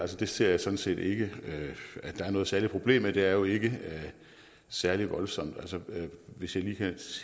ser jeg sådan set ikke at der er noget særligt problem i det det er jo ikke særlig voldsomt hvis jeg lige kan